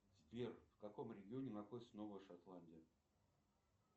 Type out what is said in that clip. сбер в каком регионе находится новая шотландия